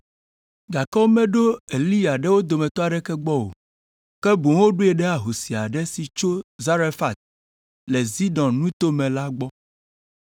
Gake womeɖo Eliya ɖe wo dometɔ aɖeke gbɔ o, ke boŋ woɖoe ɖe ahosi aɖe si tso Zarefat le Sidon nuto me la gbɔ.